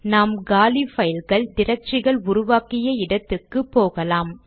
நாம் காலி பைல்கள் டிரக்டரிகள் உருவாக்கிய இடத்துக்கு போகலாம்